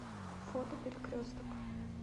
фото перекресток